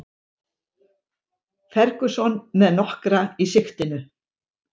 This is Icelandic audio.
Ferguson með nokkra í sigtinu